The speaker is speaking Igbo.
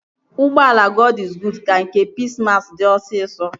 Ụgbọala Gọd iz Guud ka nke Pis mas dị osisọ